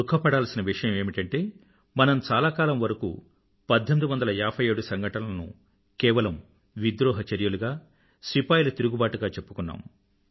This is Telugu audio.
దుఖపడాల్సిన విషయం ఏమిటంటే మనం చాలా కాలం వరకూ 1857 సంఘటనలను కేవలం విద్రోహ చర్యలుగా సిపాయిల తిరుగుబాటుగా చెప్పుకున్నాం